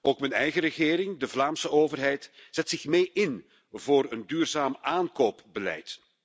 Ook mijn eigen regering, de Vlaamse overheid, zet zich mee in voor een duurzaam aankoopbeleid.